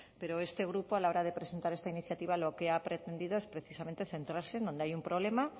pero este grupo a la hora de presentar esta iniciativa lo que ha pretendido es precisamente centrarse en donde hay un problema